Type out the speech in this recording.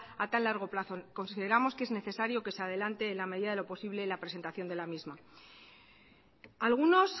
a tan largo plazo consideramos que es necesario que se adelante en la medida de lo posible la presentación de la misma algunos